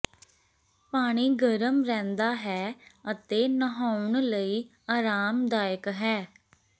ਪਾਣੀ ਗਰਮ ਰਹਿੰਦਾ ਹੈ ਅਤੇ ਨਹਾਉਣ ਲਈ ਆਰਾਮਦਾਇਕ ਹੈ